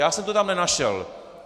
Já jsem to tam nenašel.